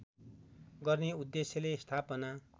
गर्ने उद्देश्यले स्थापना